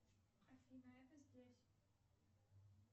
афина это здесь